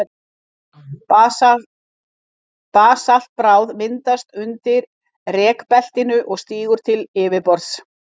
Basaltbráð myndast undir rekbeltinu og stígur til yfirborðs.